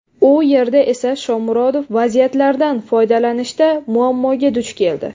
U yerda esa Shomurodov vaziyatlardan foydalanishda muammoga duch keldi.